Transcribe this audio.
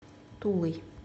тулой